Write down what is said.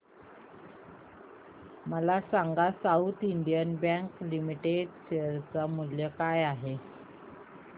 मला सांगा South Indian Bank Limited चे शेअर मूल्य काय आहे